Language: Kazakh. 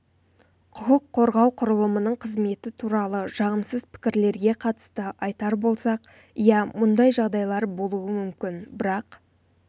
құқық қорғау құрылымының қызметі туралы жағымсыз пікірлерге қатысты айтар болсақ иә мұндай жағдайлар болуы мүмкін бірақ